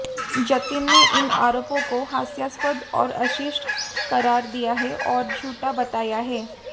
जतिन ने इन आरोपों को हास्यास्पद और अशिष्ट करार दिया है और झूठा बताया है